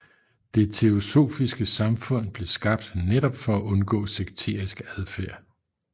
Det teosofiske Samfund blev skabt netop for at undgå sekterisk adfærd